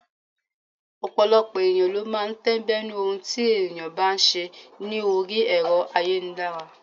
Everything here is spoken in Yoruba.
Ọ̀pọ̀lọpọ̀ ènìyàn ló máa ń tẹ́ńbẹ́lú ohun tí ènìyàn bá ṣe ní orí Ẹ̀rọ ayélujára.